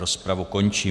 Rozpravu končím.